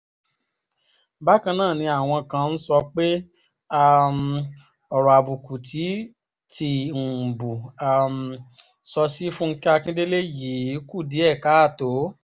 Bakan naa ni awọn kan n sọpe um ọrọ abuku ti tiumbu um sọ si Funkẹ Akindele yii ku diẹ kaato